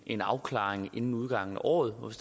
en afklaring inden udgangen af året og